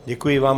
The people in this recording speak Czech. Děkuji vám.